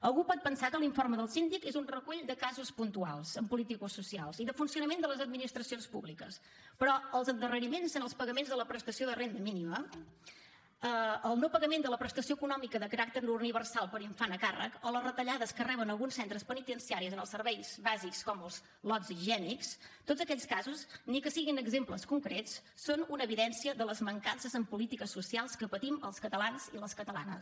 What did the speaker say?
algú pot pensar que l’informe del síndic és un recull de casos puntuals politicosocials i de funcionament de les administracions públiques però els endarreriments en els pagaments de la prestació de renda mínima el no pagament de la prestació econòmica de caràcter universal per infant a càrrec o les retallades que reben alguns centres penitenciaris en els serveis bàsics com els lots higiènics tots aquests casos ni que siguin exemples concrets són una evidència de les mancances en polítiques socials que patim els catalans i les catalanes